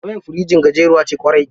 Wayar firjin gajeriya ce ƙwarai.